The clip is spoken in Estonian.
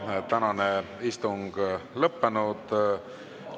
Meie tänane istung on lõppenud.